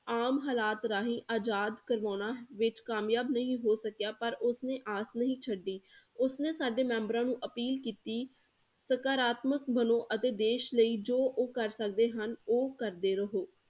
ਆਮ ਹਾਲਾਤ ਰਾਹੀਂ ਆਜ਼ਾਦ ਕਰਵਾਉਣਾ ਵਿੱਚ ਕਾਮਯਾਬ ਨਹੀ ਹੋ ਸਕਿਆ ਪਰ ਉਸ ਨੇ ਆਸ ਨਹੀ ਛੱਡੀ ਉਸ ਨੇ ਸਾਡੇ ਮੈਂਬਰਾਂ ਨੂੰ appeal ਕੀਤੀ ਸਕਾਰਾਤਮਕ ਵੱਲੋ ਅਤੇ ਦੇਸ਼ ਲਈ ਜੋ ਉਹ ਕਰ ਸਕਦੇ ਹਨ ਉਹ ਕਰਦੇ ਰਹੋ।